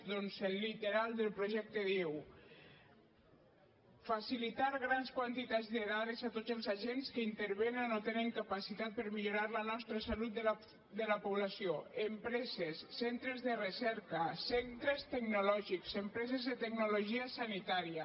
doncs el literal del projecte diu facilitar grans quantitats de dades a tots els agents que intervenen o tenen capacitat per millorar la salut de la població empreses centres de recerca centres tecnològics empreses de tecnologia sanitària